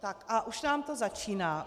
Tak, a už nám to začíná.